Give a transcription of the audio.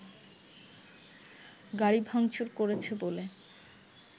গাড়ি ভাংচুর করেছে বলে